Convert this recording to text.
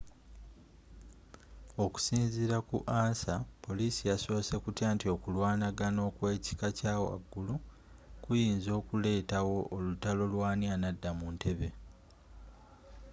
okusinziira ku ansa poliisi yasoose kutya nti okulwanaga okw'ekika kya waggulu kuyinza okuletawo olutalo lw'ani anadda mu ntebe